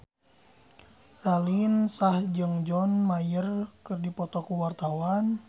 Raline Shah jeung John Mayer keur dipoto ku wartawan